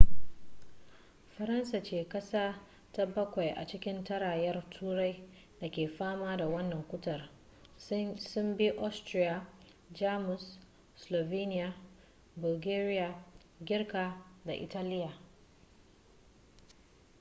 faransa ce kasa ta bakwai a cikin tarayyar turai da ke fama da wannan cutar sun bi austria jamus slovenia bulgaria girka da italiya